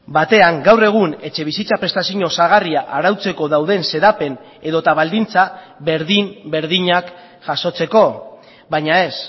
batean gaur egun etxebizitza prestazio osagarria arautzeko dauden xedapen edota baldintza berdin berdinak jasotzeko baina ez